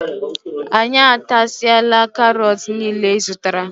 Anyị atasiala karot niile ịzụtara.